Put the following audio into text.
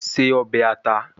Se obe ata